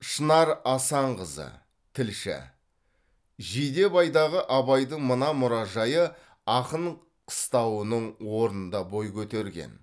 шынар асанқызы тілші жидебайдағы абайдың мына мұражайы ақын қыстауының орнында бой көтерген